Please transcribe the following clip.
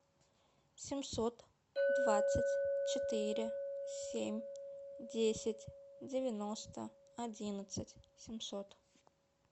семьсот двадцать четыре семь десять девяносто одиннадцать семьсот